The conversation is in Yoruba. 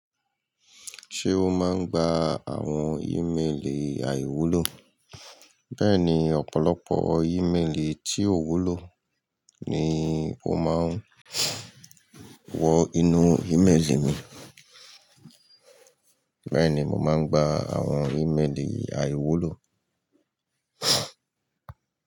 Ṣé o máa ń gba àwọn ímélì àìwúlò? Bẹ́ẹ̀ni, ọ̀pọ̀lọpọ̀ ímélì tí ò wúlò ni mo máa ń wọ inú ímélì mi. Bẹ́ẹ̀ni, mo máa ń gba àwọn ímélì àìwúlò.